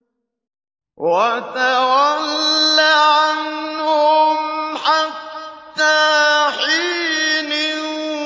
وَتَوَلَّ عَنْهُمْ حَتَّىٰ حِينٍ